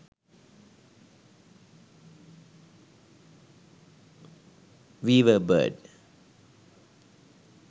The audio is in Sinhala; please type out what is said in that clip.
weaver bird